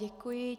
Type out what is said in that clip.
Děkuji.